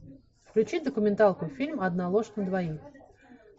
включи документалку фильм одна ложь на двоих